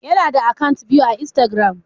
Ya na da akant biyu a instagram